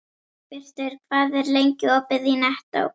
Dagbjartur, hvað er lengi opið í Nettó?